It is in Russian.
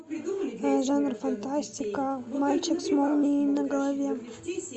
жанр фантастика мальчик с молнией на голове